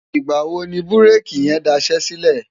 ìgbà̀ wo ni búréèkì yẹn daṣẹ́ sílẹ̀?